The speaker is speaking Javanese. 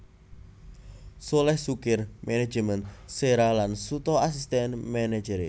Sholèh Sukir management Séra lan Suto asistèn manageré